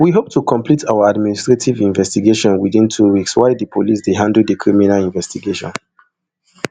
we hope to conclude our administrative investigation within two weeks while di police dey handle di criminal investigation